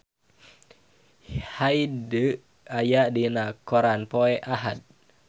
Hyde aya dina koran poe Ahad